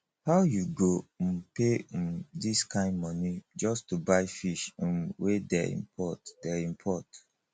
how you go um pay um this kin money just to buy fish um wey dey import dey import